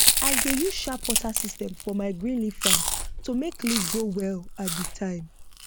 i dey use sharp water system for my green leaf farm to make leaf grow well all the time